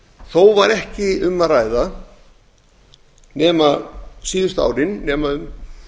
þó var ekki um að ræða síðustu árin nema um